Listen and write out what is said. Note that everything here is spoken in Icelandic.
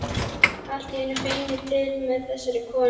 Allt í einu finn ég til með þessari konu.